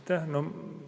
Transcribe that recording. Aitäh!